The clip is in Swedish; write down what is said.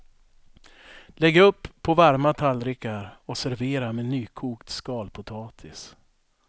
Lägg upp på varma tallrikar och servera med nykokt skalpotatis.